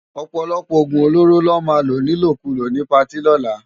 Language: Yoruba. Òpòlòpò ógún ólóró lò má ló nilókúló ni páti òlá